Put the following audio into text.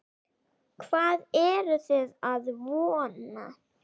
Hvað eruð þið að vona?